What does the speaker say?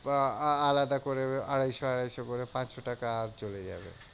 বা আ~ আলাদা করে আড়াইশো আড়াইশো করে পাঁচশো টাকা চলে যাবে।